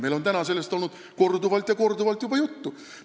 Meil on täna sellest juba korduvalt ja korduvalt juttu olnud.